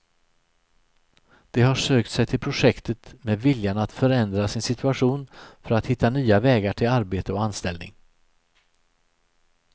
De har sökt sig till projektet med viljan att förändra sin situation för att hitta nya vägar till arbete och anställning.